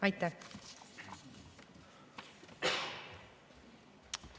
Aitäh!